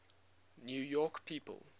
new york people